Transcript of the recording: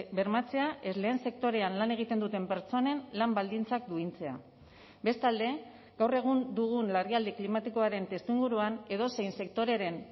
bermatzea ez lehen sektorean lan egiten duten pertsonen lan baldintzak duintzea bestalde gaur egun dugun larrialdi klimatikoaren testuinguruan edozein sektoreren